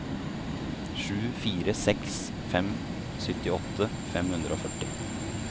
sju fire seks fem syttiåtte fem hundre og førti